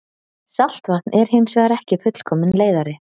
saltvatn er hins vegar ekki fullkominn leiðari